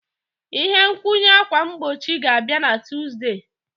Ihe nkwụnye ákwà mgbochi ga-abịa na Tuzdee.